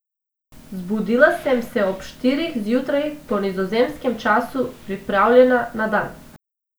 Zbudila sem se ob štirih zjutraj po nizozemskem času, pripravljena na dan.